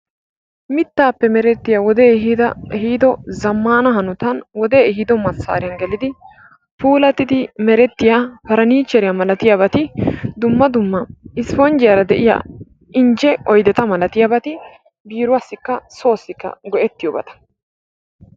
Mittaappe merettiya wodee ehiido zammaana hanotan wodee ehiido massaariyan gelidi puulattidi merettiya pariniichcheriya malatiyabati dumma dumma isipponjjiyara de'iya injje oydeta malatiyabati biiruwassikka soossikka go'ettiyobata.